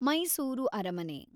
ಮೈಸೂರು ಅರಮನೆ